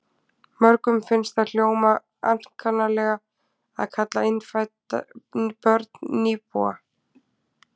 Mörgum finnst það hljóma ankannalega að kalla innfædd börn nýbúa.